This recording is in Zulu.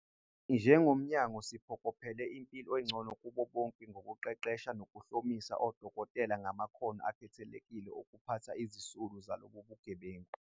"Njengomnyango, siphokophelele impilo engcono kubo bonke ngokuqeqesha nokuhlomisa odokotela ngamakhono akhethekile okuphatha izisulu zalobu bugebengu."